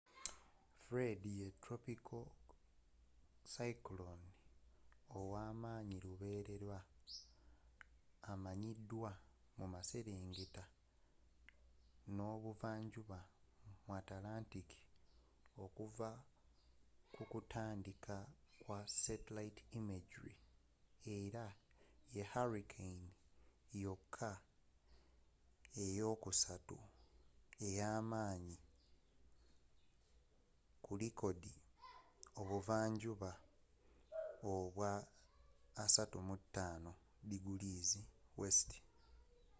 fred ye tropiko cyclone ow'amaanyi luberera amanyiddwa mu maserengeta n'ebuvanjuba mu antlantic okuva ku kutandika kwa satellite imagery era ye hurricane yokka eyokusatu eyamaanyi ku likodi ebuva njuba obwa 35 °w